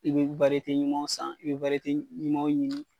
I be wariyete ɲumanw san i be wariyete ɲumanw ɲini